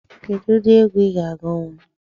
Kedụ ụdị egwu ị ga agunwu?